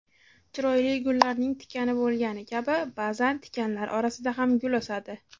Chiroyli gullarning tikani bo‘lgani kabi ba’zan tikanlar orasida ham gul o‘sadi.